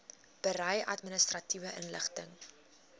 berei administratiewe inligting